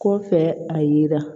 Kɔfɛ a yira